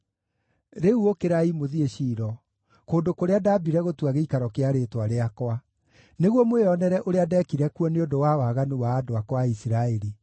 “ ‘Rĩu ũkĩrai mũthiĩ Shilo, kũndũ kũrĩa ndambire gũtua gĩikaro kĩa Rĩĩtwa rĩakwa, nĩguo mwĩonere ũrĩa ndeekire kuo nĩ ũndũ wa waganu wa andũ akwa a Isiraeli.